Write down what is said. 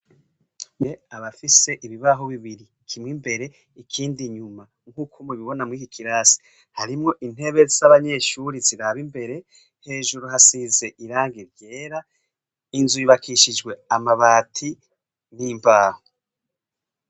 NDAYISHIMIYE abafise ibibaho bibiri kimwe imbere ikindi inyuma nkuko mu bibona muriki kirasi, harimwo intebe zabanyeshure ziraba imbere hejuru hasize irangi ryera inzu yubakishijwe amabati n'imbaho.